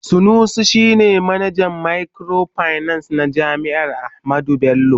Sanusi shi ne manajan microfinance na jami'ar Ahmadu Bello.